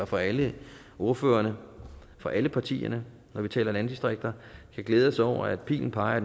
fra alle ordførerne fra alle partierne når vi taler landdistrikter i fællesskab kan glæde os over at pilen peger